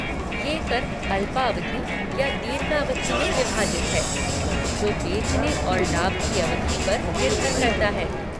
ये कर अल्पावधि या दीर्घावधि में विभाजित हैं, जो बेचने और लाभ की अवधि पर निर्भर करता है।